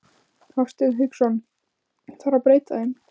Hafsteinn Hauksson: Þarf að breyta þeim?